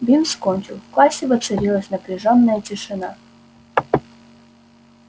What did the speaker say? бинс кончил в классе воцарилась напряжённая тишина